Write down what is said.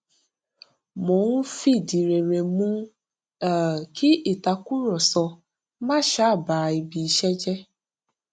mo ń fìdí rere mú um kí ìtàkùrọsọ má um ba ibi iṣẹ jẹ